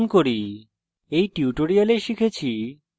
সংক্ষিপ্তকরণ করি এই টিউটোরিয়াল আমরা শিখেছি